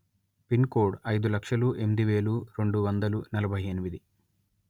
pin code అయిదు లక్షల ఎనిమిది వెేల రెండు వందల నలభై ఎనిమిది